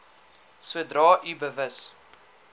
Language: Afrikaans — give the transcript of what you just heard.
sodra u bewus